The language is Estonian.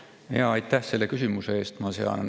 Aitäh selle küsimuse eest!